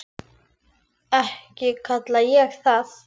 Ekki kalla ég það.